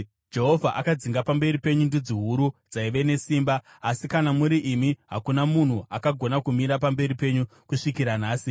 “Jehovha akadzinga pamberi penyu ndudzi huru dzaiva nesimba, asi kana muri imi hakuna munhu akagona kumira pamberi penyu kusvikira nhasi.